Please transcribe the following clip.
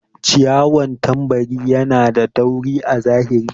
ciyawan tambari Yana da tauri a zahiri.